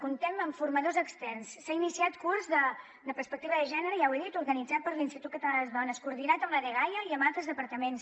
comptem amb formadors externs s’ha iniciat curs de perspectiva de gènere ja ho he dit organitzat per l’institut català de les dones coordinat amb la dgaia i amb altres departaments